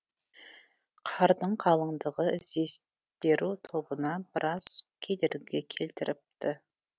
қардың қалыңдығы іздестеру тобына біраз кедергі келтіріпті